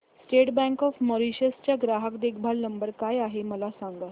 state bank of Mauritius चा ग्राहक देखभाल नंबर काय आहे मला सांगा